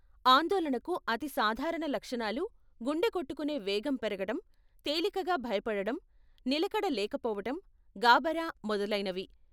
ఆందోళనకు అతి సాధారణ లక్షణాలు గుండె కొట్టుకునే వేగం పెరగటం, తేలికగా భయపడటం, నిలకడ లేకపోవటం, గాభరా మొదలైనవి.